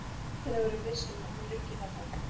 Til að vera viss um að hún liggi þarna.